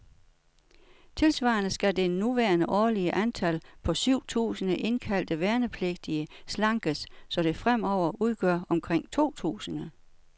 Tilsvarende skal det nuværende årlige antal, på syv tusinde indkaldte værnepligtige, slankes, så det fremover udgør omkring to tusinde.